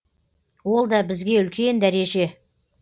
ол да бізге үлкен дәреже